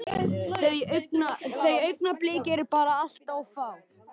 Þau augnablik eru bara allt of fá.